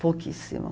Pouquíssimo.